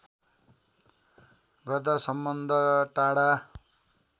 गर्दा सम्बन्ध टाढा